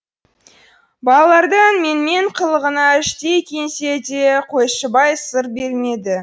балалардың менмен қылығына іштей күйінсе де қойшыбай сыр бермеді